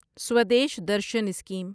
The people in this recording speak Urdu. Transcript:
سودیش درشن اسکیم